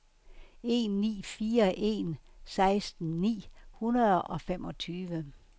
en ni fire en seksten ni hundrede og femogtyve